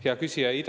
Hea küsija!